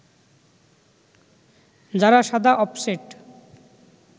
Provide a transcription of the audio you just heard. যারা সাদা অফসেট